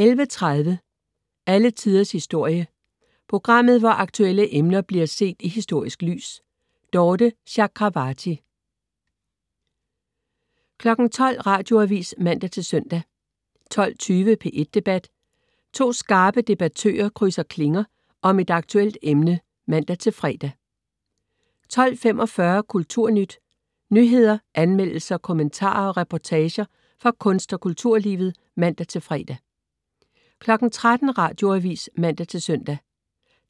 11.30 Alle Tiders historie. Programmet, hvor aktuelle emner bliver set i historisk lys. Dorthe Chakravarty 12.00 Radioavis (man-søn) 12.20 P1 Debat. To skarpe debattører krydse klinger om et aktuelt emne (man-fre) 12.45 Kulturnyt. Nyheder, anmeldelser, kommentarer og reportager fra kunst- og kulturlivet (man-fre) 13.00 Radioavis (man-søn)